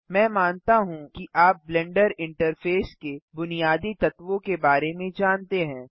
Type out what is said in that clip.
मैं मानता हूँ कि आप ब्लेंडर इंटरफेस के बुनियादी तत्वों के बारे में जानते हैं